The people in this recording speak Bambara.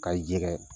Ka jɛgɛ